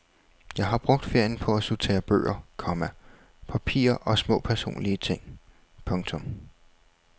Jeg har brugt ferien på at sortere bøger, komma papirer og små personlige ting. punktum